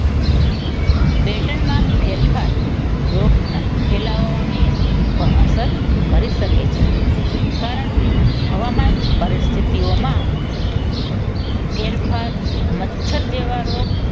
pattern માં ફેરફાર રોગના ફેલાવાની પણ અસર કરી શકે છે. કારણ કે હવામાન પરિસ્થિતિમાં ફેરફાર મચ્છર જેવા રોગ